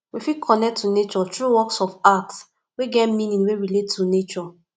we fit connect to nature through works of art wey get meaning wey relate to nature